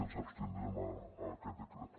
ens abstindrem a aquest decret